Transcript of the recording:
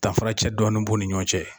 Danfaracɛ dɔɔnin b'u ni ɲɔgɔn cɛ